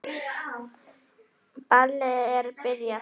Ballið er byrjað.